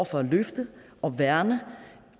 for at løfte og værne